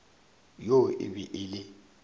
yoo e be e le